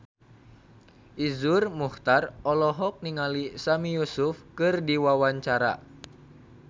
Iszur Muchtar olohok ningali Sami Yusuf keur diwawancara